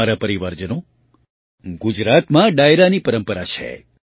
મારા પરિવારજનો ગુજરાતમાં ડાયરાની પરંપરા છે